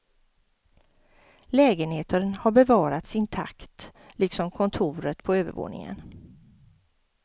Lägenheten har bevarats intakt liksom kontoret på övervåningen.